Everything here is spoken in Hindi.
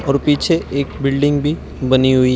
और पीछे एक बिल्डिंग भी बनी हुई है।